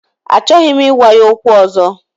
Achọghị m ịgwa ya okwu ọzọ